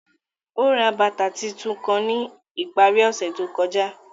Ó rá bátà títúún kán ní ipàrí òṣè tó kọjà